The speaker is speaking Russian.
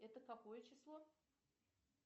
это какое число